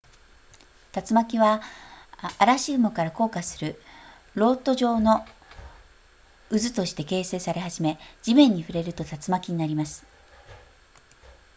竜巻は嵐雲から降下する漏斗状の渦として形成され始め地面に触れると竜巻になります